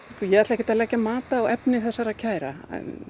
ég ætla ekkert að leggja mat á efni þessara kæra